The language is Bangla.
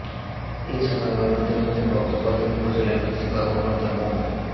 এ সময় অন্যদের মধ্যে বক্তব্য দেন উপজেলা কৃষি কর্মকর্তা মো